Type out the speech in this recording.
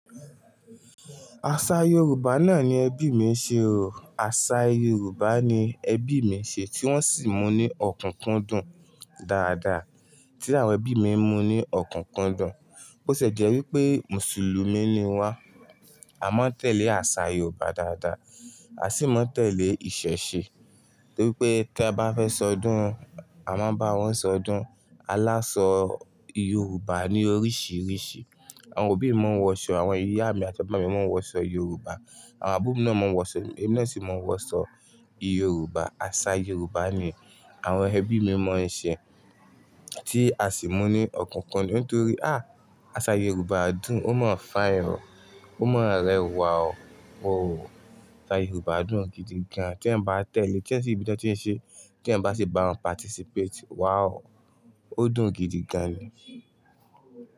Aṣa Yorùbá náà ni ẹbí mi ṣe o. Aṣa Yorùbá ni ẹbí mi ṣe tí wọ́n sì mú ní ọ̀kúnkúndùn dáadáa, tí àwọn ẹbí mi mú ní ọ̀kúnkúndùn. Bó ṣe jẹ́ wípé Mùsùlùmí ni wá, a máa ń tẹ̀lé àsà Yorùbá dáadáa, a sì máa ń tẹ̀lé ìṣẹ̀ṣe. Torí pé tí a bá fẹ́ ṣọdún, a máa bá wọn ṣọdún. Alásọ Yorùbá ní oríṣiríṣi. Àwọn òbí mi máa ń wọṣọ, àwọn ìyá mi àti bàbá mi máa ń wọṣọ Yorùbá, àwọn àbúrò náà máa wọṣọ, ẹbí náà sì máa wọṣọ Yorùbá. Aṣa Yorùbá ni àwọn ẹbí mi máa ń ṣe tí a sì mú ní ọ̀kúnkúndùn nítorí, á, àṣà Yorùbá dùn, ó máa ń fine o, ó mọ rẹwà o. Oò, àṣà Yorùbá dùn gidi gan. Tí èyàn bá tẹ̀lé, tí ẹ sì ibi tí ó tí ń ṣe, tí ẹ̀ bá sì bá wọn participate, wà ó, ó dùn gidi gan ni.